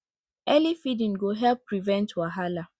early feeding go help prevent wahala